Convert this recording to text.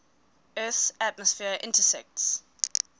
earth's atmosphere intersects